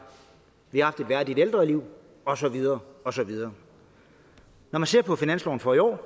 vi har haft et værdigt ældreliv og så videre og så videre når man ser på finansloven for i år